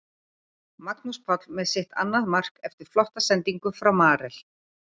Magnús Páll með sitt annað mark eftir flotta sendingu frá Marel.